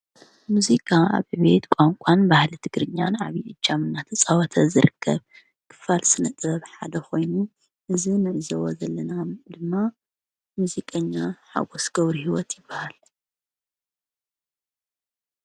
ሙዚቃ ኣብ ዕብየት ቛንቋን ባህሊ ትግርኛን ዓቢይ እጃም ናተፃወተ ዝርከብ ክፋል ስነ ጥበብ ሓደ ኮይኑ እዚ ንዕዘቦ ዘለና ድማ ሙዚቀኛ ሓጐስ ገብረሂወት ይባሃል።